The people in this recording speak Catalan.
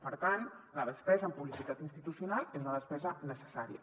per tant la despesa en publicitat institucional és una despesa necessària